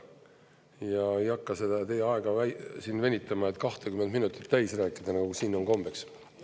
Ei hakka teie aega venitama, et 20 minutit täis rääkida, nagu siin on kombeks.